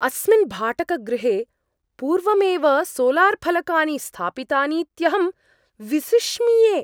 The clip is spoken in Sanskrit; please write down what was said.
अस्मिन् भाटकगृहे पूर्वमेव सोलार्फलकानि स्थापितानीत्यहं विसिष्मिये।